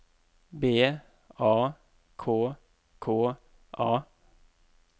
B A K K A